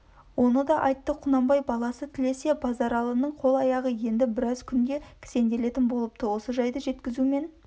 оны да айтты құнанбай баласы тілесе базаралының қол-аяғы енді біраз күнде кісенделетін болыпты осы жайды жеткізумен